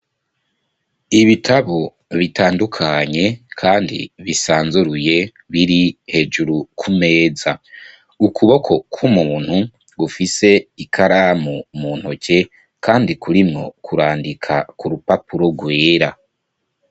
Ibitabo bitandukanye kandi bisanzuruye biri hejuru ku meza. Ukuboko kw'umuntu gufise ikaramu mu ntoke kandi kurimwo kurandika ku rupapuro rwera.